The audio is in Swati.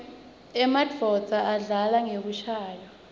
emanuodza adlala ngekushayaua